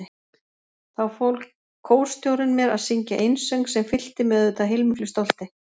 Þá fól kórstjórinn mér að syngja einsöng sem fyllti mig auðvitað heilmiklu stolti.